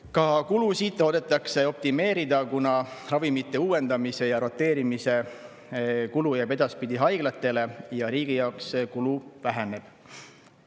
Ka kulusid loodetakse optimeerida, kuna ravimite uuendamise ja roteerimise kulu jääb edaspidi haiglatele ja riigi kulu väheneb.